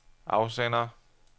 afsender